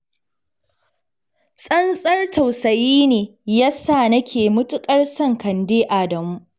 Tsantsar tusayi ne ya sa nake matuƙar son Kande Adamu.